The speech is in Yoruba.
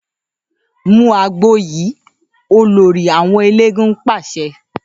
‘Mu àgbo yìí!’, olórí àwo̩n eléégún pàs̩e̩